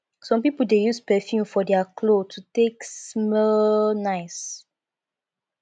some pipo de use perfume for their clothes to take small nice